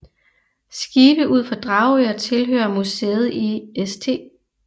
Skibe ud for Dragør tilhører museet i St